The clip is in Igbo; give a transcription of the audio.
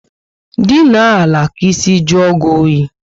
Dinye ala ka ísì juo gị oyi